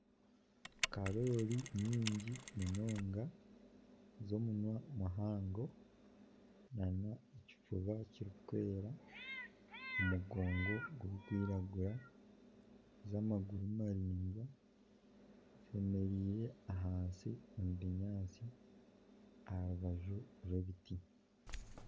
Karoori nyingi munonga z'omunwa muhango, n'ekifuba kirikwera, omugongo gurikwiragura, z'amaguru maraingwa zemereire ahansi omu binyaatsi aha rubaju rw'ebiti.